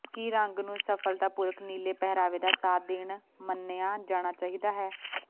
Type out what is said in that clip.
ਕੀ ਰੰਗ ਨੂੰ ਸਫਲਤਾਪੂਰਕ ਨੀਲੇ ਪਹਿਰਾਵੇ ਦਾ ਸਾਥ ਦੇਣ ਮੰਨਿਆ ਜਾਣਾ ਚਾਹੀਦਾ ਹੈ